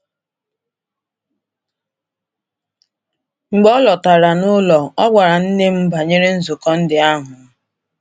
Mgbe o lọtara n’ụlọ, o gwara nne m banyere nzukọ ndị ahụ.